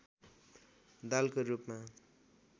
दालको रूपमा